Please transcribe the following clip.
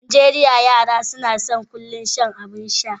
A Najeriya, yara kullum suna son shan abin sha.